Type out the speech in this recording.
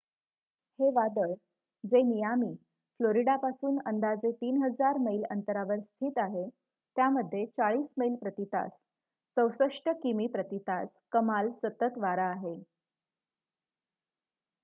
हे वादळ जे मियामी फ्लोरिडापासून अंदाजे 3,000 मैल अंतरावर स्थित आहे त्यामध्ये 40 मैल प्रती तास 64 किमी प्रती तास कमाल सतत वारा आहे